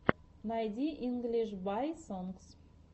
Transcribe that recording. найди инглиш бай сонгс